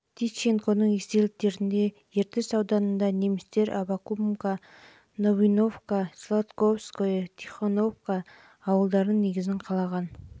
тищенконың естеліктерінде жылы ертіс ауданында немістер аввакумка новоивановка сладковское және тихоновка ауылдарының негізін қалаған